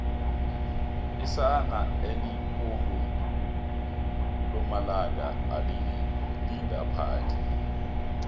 isana elibolu lomalanga aliyingaphandle